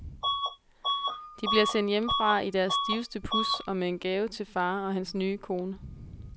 De bliver sendt hjemmefra i deres stiveste puds og med en gave til far og hans nye kone.